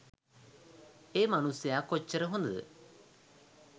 ඒ මනුස්සයා කොච්චර හොඳද